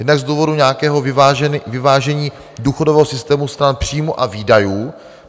Jednak z důvodu nějakého vyvážení důchodového systému stran příjmů a výdajů.